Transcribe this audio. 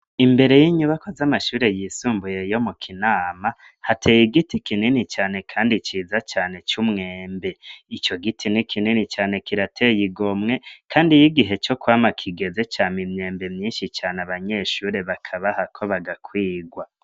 Imbere y'inyubakwa z'amashure yisumbuye yo mu kinama hateye igiti kinini cane kandi ciza cane c'umwembe, ico giti ni kinini cane kirateye igomwe kandi yigihe co kwama kigeze cama imyembe myinshi cane abanyeshure bakabahako bagakwigwa.